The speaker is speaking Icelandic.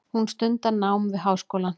Hún stundar nám við háskólann.